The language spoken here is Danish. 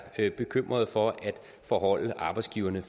bekymrede for at forholde arbejdsgiverne